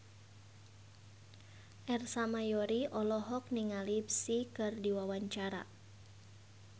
Ersa Mayori olohok ningali Psy keur diwawancara